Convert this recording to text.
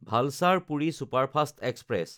Valsad Puri superfast express